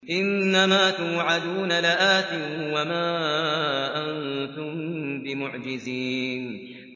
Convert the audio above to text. إِنَّ مَا تُوعَدُونَ لَآتٍ ۖ وَمَا أَنتُم بِمُعْجِزِينَ